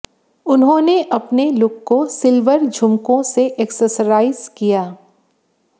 उन्होंने अपने लुक को सिल्वर झुमकों से एक्सेसराइज किया